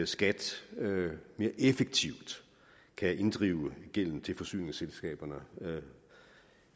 skat mere effektivt kan inddrive gæld til forsyningsselskaberne